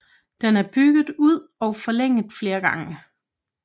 Den er bygget ud og forlænget flere gange